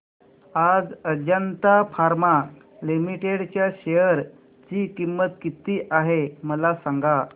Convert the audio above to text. आज Ajanta pharma limited च्या share ची किंमत किती आहे मला सांगा